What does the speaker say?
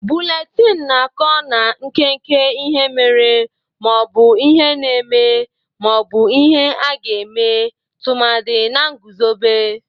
Bụletini na-akụ na nkeke ihe mere ma ọ bụ ihe na-eme ma ọ bụ ihe a ga-eme tụmadị na nguzobe.